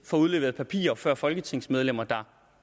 får udleveret papirer før folketingsmedlemmer der